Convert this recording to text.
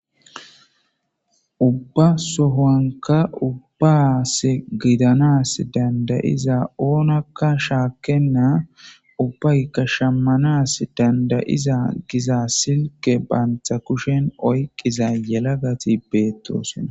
Ubba sohoanka ubbas gidanas dandayiza oonakka shaakenna ubbaykka shammanas dandayiza giza silke baantha kushen oyqqiza yelagati beettoosona.